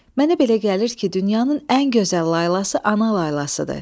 Mənə belə gəlir ki, dünyanın ən gözəl laylası ana laylasıdır.